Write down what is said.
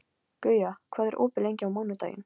Guja, hvað er opið lengi á mánudaginn?